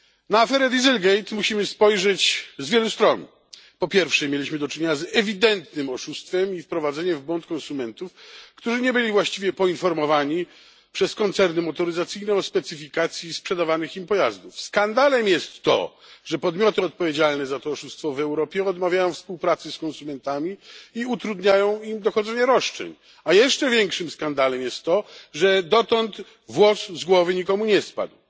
Na aferę dieselgate musimy spojrzeć z wielu stron po pierwsze, mieliśmy do czynienia z ewidentnym oszustwem i wprowadzeniem w błąd konsumentów, którzy nie byli właściwie informowani przez koncerny motoryzacyjne o specyfikacji sprzedawanych im pojazdów. Skandalem jest to, że podmioty odpowiedzialne za to oszustwo w Europie odmawiają współpracy z konsumentami i utrudniają im dochodzenie roszczeń, a jeszcze większym skandalem jest to, że dotąd włos z głowy nikomu nie spadł.